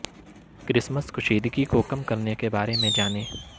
Christmas کشیدگی کو کم کرنے کے بارے میں جانیں